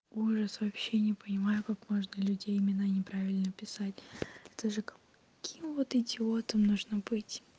ужас вообще не понимаю как можно людей имена не правильно писать даже таким вот идиотом нужно быть